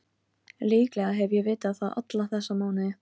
Hún átti ekki við nokkurn skapaðan hlut.